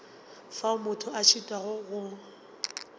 fao motho a šitwago go